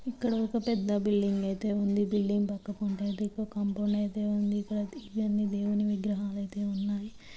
ఇక్కడ ఒక పెద్ద బిల్డింగ్ అయితే ఉంది బిల్డింగ్ పక్కనఒక కాంపౌండ్ అయితే ఉంది ఇవన్నీ దేవుని విగ్రహాలు అయితే ఉన్నాయి.